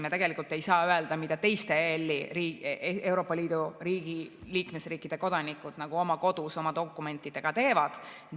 Me tegelikult ei saa öelda, mida teiste Euroopa Liidu liikmesriikide kodanikud oma kodus oma dokumentidega teevad.